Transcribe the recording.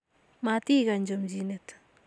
Matikany chomchinet.